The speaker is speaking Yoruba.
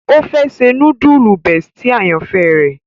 O fẹ ṣe.nudulu bestie àyànfẹ rẹ.